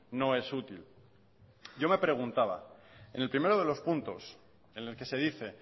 no es útil yo me preguntaba en el primero de los puntos en el que se dice